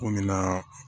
Ko min na